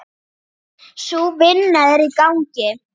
Sú vinna er í gangi.